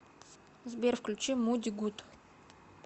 сбер включи муди гуд